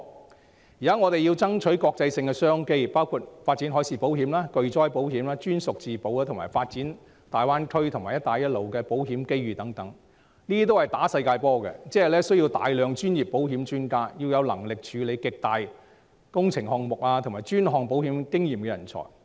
但現在我們要爭取國際商機，包括發展海事保險、巨災保險、專屬自保，以及發展大灣區和"一帶一路"的保險機遇等，這些均是打"世界波"，需要大量保險專家，要有能力處理極大型工程項目及專項保險經驗的人才。